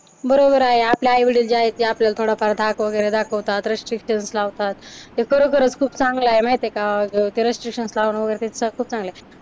बरोबर आहे. आपले आई-वडील जे आहेत ते आपल्याला थोडंफार धाक वगैरे दाखवतात, रेस्ट्रीकशन्स लावतात. ते खरोखरच खूप चांगलं आहे माहिती आहे का? ते रेस्ट्रीकशन्स लावणं वगैरे ते खूप चांगलं आहे.